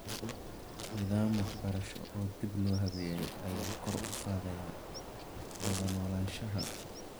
Nidaam waxbarasho oo dib loo habeeyay ayaa kor u qaadaya wada noolaanshaha .